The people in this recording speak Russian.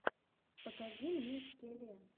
покажи мне скеле